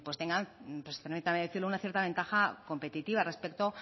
tengan permítanme decirlo una cierta ventaja competitiva respecto